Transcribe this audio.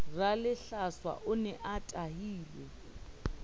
ralehlatsa o ne a tahilwe